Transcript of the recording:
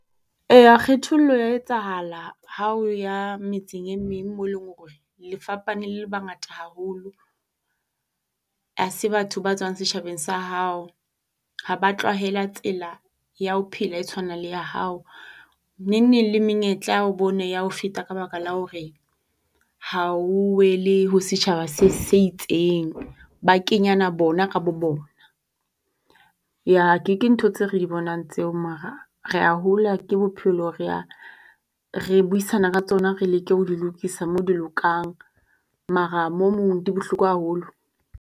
Eya kgethollo ya etsahala hao ya metseng e meng mo leng hore le fapane le bangata haholo. Ha se batho ba tswang setjhabeng sa hao. Ha ba tlwahela tsela ya ho phela e tshwanang le ya hao. Neng neng le menyetla o bone ya o feta ka baka la hore ha o wele ho setjhaba se se itseng. Ba kenyana bona ka bo bona. Ya ke ke ntho tse re di bonang tseo mara rea hola ke bophelo, rea re buisana ka tsona, re leke ho di lokisa mo di lokang mara mo mong di bohloko haholo.